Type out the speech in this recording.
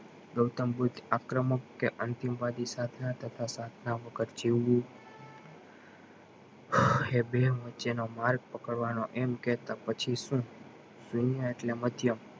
ગૌતમ બુદ્ધ આક્રમક કે અંતિમ વાડી સાધના તથા સાધના વગર જીવ્યું એ બે વચે નો માર્ગ પકડવાનો એમ કેતા પછી શું દુનિયા એટલે માધ્યમ